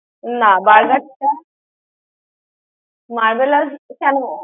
না, Burger টা Marbella's কেন?